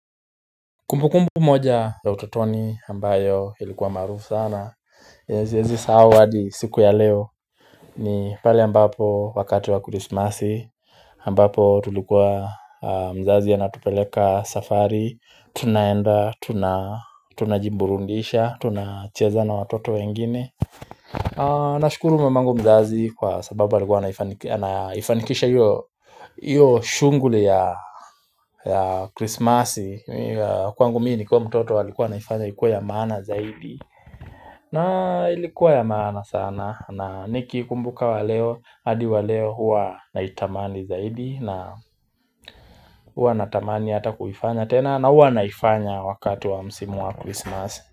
Kumbukumbu moja ya utotoni ambayo ilikuwa maarufu sana yenye siezi sahau hadi siku ya leo ni pale ambapo wakati wa christmasi ambapo tulikuwa mzazi anatupeleka safari Tunaenda tunajiburudisha tunacheza na watoto wengine na shukuru mamangu mzazi kwa sababu alikuwa anaifanikisha hiyo hiyo shuguli ya Christmas Kwangu mimi nikiwa mtoto alikuwa anaifanya ikuwe ya maana zaidi na ilikuwa ya maana sana na niki kumbuka wa leo hadi wa leo huwa na itamani zaidi na huwa na tamani Hata kuifanya tena na huwa naifanya Wakati wa msimu wa Christmas.